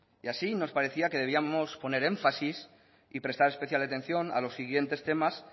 y así nos parecía que debíamos de poner énfasis y prestar atención a los siguientes temas